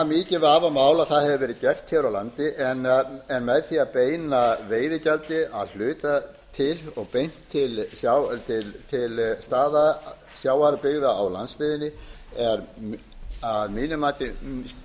mikið vafamál að það hafi verið gert hér á landi en með því að beina veiðigjaldi að hluta til og beint til sjávarbyggða á landsbyggðinni þá